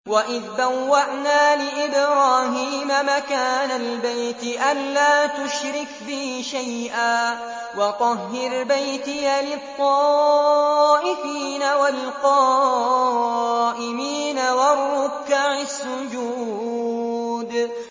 وَإِذْ بَوَّأْنَا لِإِبْرَاهِيمَ مَكَانَ الْبَيْتِ أَن لَّا تُشْرِكْ بِي شَيْئًا وَطَهِّرْ بَيْتِيَ لِلطَّائِفِينَ وَالْقَائِمِينَ وَالرُّكَّعِ السُّجُودِ